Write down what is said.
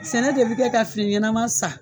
Sɛnɛ de bi kɛ ka fini ɲɛnama san.